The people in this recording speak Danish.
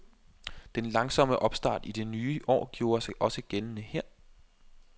Den langsomme opstart i det nye år gjorde sig også gældende her.